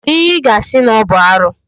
Kedụ ihe ị ga-asị na ọ bụ arụ.